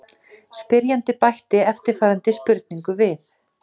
Spyrjandi bætti eftirfarandi spurningu við: